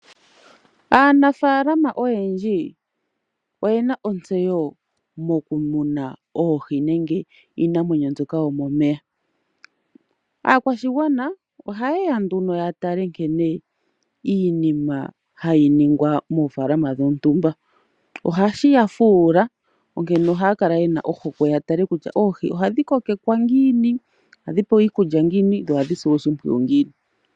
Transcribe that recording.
Aanafaalama oyendji oyena ontseyo moku muna oohi nenge iinamwenyo mbyoka yomomeya. Aakwashigwana ohaye ya nduno yatale nkene iinima hayi ningwa moofaalama dhontumba. Ohashi yafuula onkene ohaya kala ye na ohokwe yatale kutya oohi ohadhi kokekwa ngiini, ohadhi pewa iikulya ngiini dho ohadhi silwa oshimpwiyu ngiini.